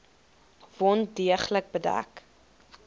wond deeglik bedek